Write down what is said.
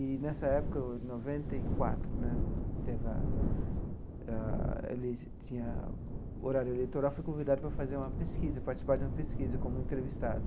E, nessa época, em noventa e quatro né, teve a a eles tinha o horário eleitoral, fui convidado para fazer uma pesquisa participar de uma pesquisa como entrevistado.